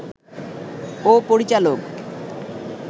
ও পরিচালক